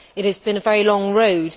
It has been a very long road.